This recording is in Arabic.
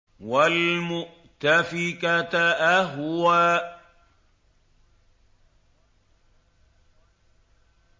وَالْمُؤْتَفِكَةَ أَهْوَىٰ